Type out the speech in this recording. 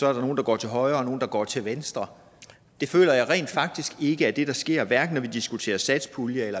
er nogle der går til højre og nogle der går til venstre det føler jeg rent faktisk ikke er det der sker hverken når vi diskuterer satspuljen